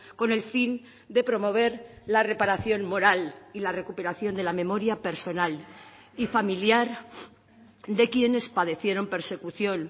con el fin de promover la reparación moral y la recuperación de la memoria personal y familiar de quienes padecieron persecución